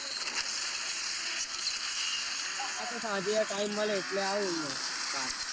આતો યાર સાંજે